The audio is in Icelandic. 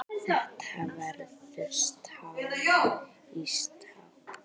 Þetta verður stál í stál.